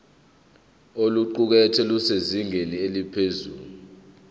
oluqukethwe lusezingeni eliphezulu